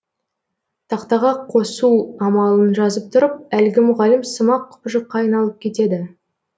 тақтаға қосу амалын жазып тұрып әлгі мұғалім сымақ құбыжыққа айналып кетеді